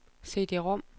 CD-rom